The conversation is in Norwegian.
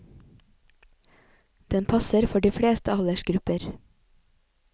Den passer for de fleste aldersgrupper.